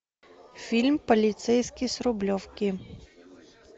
фильм полицейский с рублевки